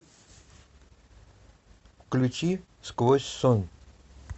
включи сквозь сон